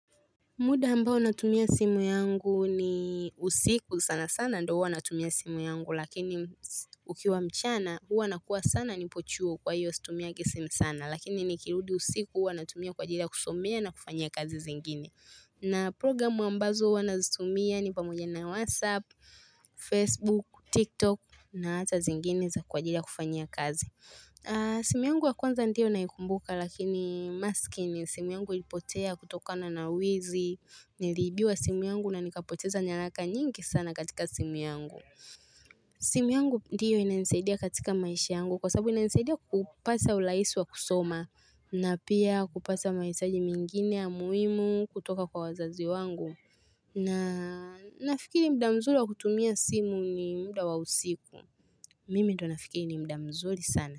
Muda ambao natumia simu yangu ni usiku sana sana ndo huwa natumia simu yangu lakini ukiwa mchana huwa nakua sana nipo chuo kwa hiyo situmiagi simu sana lakini nikirudi usiku huwa natumia kwa ajili kusomea na kufanya kazi zingine. Na programu ambazo huwa nazitumia ni pamoja na whatsapp, facebook, tiktok na hata zingine za kwa ajili ya kufanya kazi. Simu yangu wa kwanza ndiyo naikumbuka lakini masikini simu yangu ilipotea kutokana na wizi nilibiwa simu yangu na nikapoteza nyalaka nyingi sana katika simu yangu. Simu yangu ndiyo ina nisaidia katika maishi yangu kwa sababu ina nisaidia kupasa ulaisi wa kusoma na pia kupasa maitaji mingine ya muhimu kutoka kwa wazazi wangu. Na nafikiri mda mzuri wa kutumia simu ni mda wa usiku. Mimi ndo nafikiri ni mdamzuri sana.